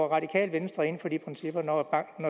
radikale venstre ind for de principper når